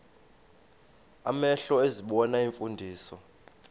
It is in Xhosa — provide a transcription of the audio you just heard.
amehlo ezibona iimfundiso